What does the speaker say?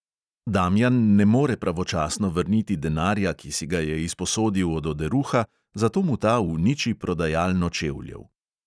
Damjan ne more pravočasno vrniti denarja, ki si ga je izposodil od oderuha, zato mu ta uniči prodajalno čevljev.